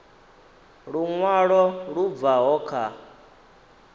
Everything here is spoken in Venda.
lu ṅwalo lu bvaho kha